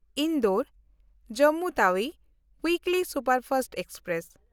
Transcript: Indore-Jammu Tawi weekly superfast express